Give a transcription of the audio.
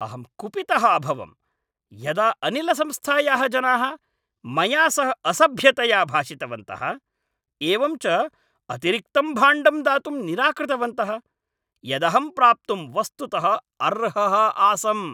अहं कुपितः अभवम् यदा अनिलसंस्थायाः जनाः मया सह असभ्यतया भाषितवन्तः । एवं च अतिरिक्तं भाण्डं दातुं निराकृतवन्तः । यदहं प्राप्तुं वस्तुतः अर्हः आसम् ।